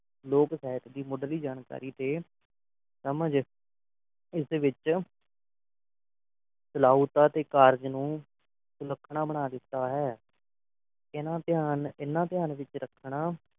ਲੋਕ ਸਾਹਿਤ ਦੀ ਮੁੱਢਲੀ ਜਾਣਕਾਰੀ ਤੇ ਸਮਝ ਇਸ ਵਿੱਚੋਂ ਸ਼ਾਲਾਓਤਾ ਤੇ ਕਾਰਜ ਨੂੰ ਸੁਲੱਖਣਾ ਬਣਾ ਦਿੱਤਾ ਹੈ ਇਨ੍ਹਾਂ ਧਿਆਨ ਇਨ੍ਹਾਂ ਧਿਆਨ ਵਿੱਚ ਰੱਖਣਾ